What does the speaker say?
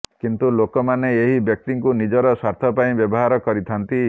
କିନ୍ତୁ ଲୋକମାନେ ଏହି ବ୍ୟକ୍ତିଙ୍କୁ ନିଜର ସ୍ୱାର୍ଥ ପାଇଁ ବ୍ୟବହାର କରିଥାନ୍ତି